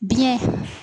Biɲɛ